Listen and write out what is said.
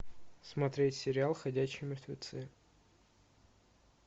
смотреть сериал ходячие мертвецы